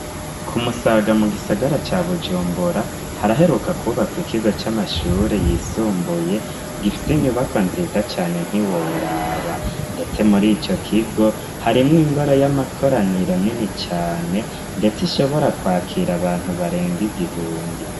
Ku Musaga, mu gisagara ca Bujumbura, haraheruka kwubakwa, ikigo c'amashuri yisumbuye, gifise inyubakwa nziza cane, ntiworaba; ndetse muri ico kigo, harimwo ingoro y'amakoraniro, nini cane, ndetse ishobora kwakira abantu, barenga igihumbi.